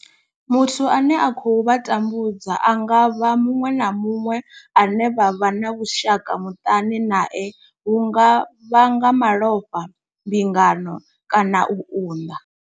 Muthu ane a khou vha tambudza a nga vha muṅwe na muṅwe ane vha vha na vhushaka muṱani nae hu nga vha nga malofha, mbingano kana u unḓa.